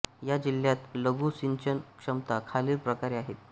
या जिल्ह्यात लघु सिंचन क्षमता खालील प्रकारे आहेत